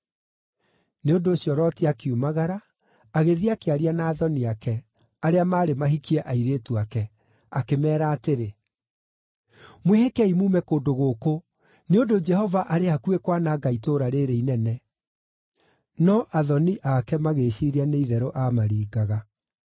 Nĩ ũndũ ũcio Loti akiumagara, agĩthiĩ akĩaria na athoni ake, arĩa maarĩ mahikie airĩtu ake. Akĩmeera atĩrĩ, “Mwĩhĩkei muume kũndũ gũkũ, nĩ ũndũ Jehova arĩ hakuhĩ kwananga itũũra rĩĩrĩ inene!” No athoni ake magĩĩciiria nĩ itherũ aamaringaga.